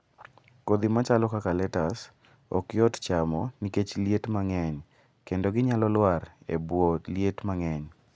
Kodhi machalo kaka letus, ok yot chamo nikech liet mang'eny kendo ginyalo lwar e bwo liet mang'eny.